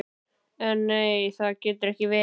En nei, það getur ekki verið.